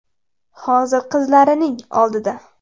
Hozir qizlarining oldida.